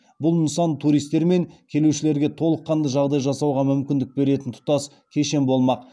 бұл нысан туристер мен келушілерге толыққанды жағдай жасауға мүмкіндік беретін тұтас кешен болмақ